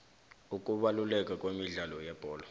ukubaluleka kwemidlalo yebholo